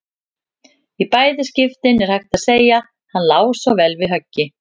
Í bæði skiptin er hægt að segja: Hann lá svo vel við höggi.